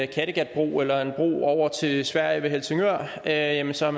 kattegatbro eller en bro over til sverige ved helsingør jamen så er